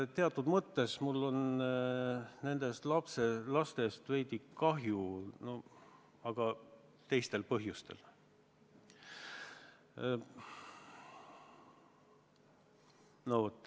Teatud mõttes mul on nendest lastest veidi kahju, aga teistel põhjustel.